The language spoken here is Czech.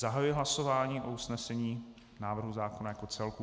Zahajuji hlasování o usnesení návrhu zákona jako celku.